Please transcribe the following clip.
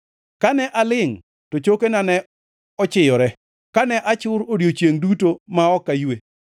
Kane alingʼ to chokena ne ochiyore, kane achur odiechiengʼ duto ma ok aywe.